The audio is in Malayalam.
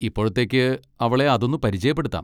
ഇപ്പോഴത്തേക്ക് അവളെ അതൊന്നു പരിചയപ്പെടുത്താം.